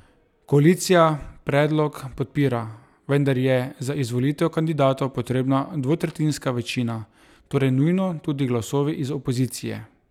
Koalicija predlog podpira, vendar je za izvolitev kandidatov potrebna dvotretjinska večina, torej nujno tudi glasovi iz opozicije.